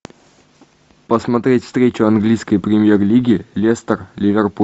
посмотреть встречу английской премьер лиги лестер ливерпуль